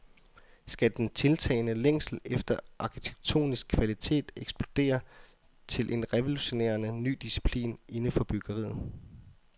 Skal den tiltagende længsel efter arkitektonisk kvalitet eksplodere til en revolutionerende ny disciplin inden for byggeriet?